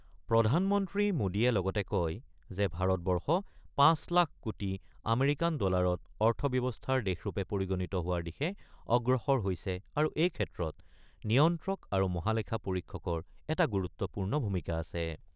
প্ৰধানমন্ত্ৰী মোদীয়ে লগতে কয় যে ভাৰতবৰ্ষ ৫ লাখ কোটি আমেৰিকান ডলাৰৰ অৰ্থব্যৱস্থাৰ দেশৰূপে পৰিগণিত হোৱাৰ দিশে অগ্ৰসৰ হৈছে আৰু এই ক্ষেত্ৰত নিয়ন্ত্ৰক আৰু মহালেখা পৰীক্ষকৰ এটা গুৰুত্বপূৰ্ণ ভূমিকা আছে।